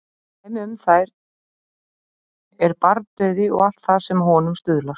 Dæmi um þær er barnadauði og allt það sem að honum stuðlar.